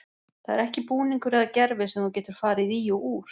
Það er ekki búningur eða gervi sem þú getur farið í og úr.